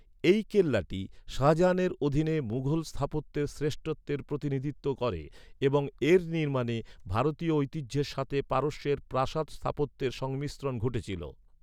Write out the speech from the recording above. এই কেল্লাটি শাহজাহানের অধীনে মুঘল স্থাপত্যের শ্রেষ্ঠত্বের প্রতিনিধিত্ব করে এবং এর নির্মাণে ভারতীয় ঐতিহ্যের সাথে পারস্যের প্রাসাদ স্থাপত্যের সংমিশ্রণ ঘটেছিল।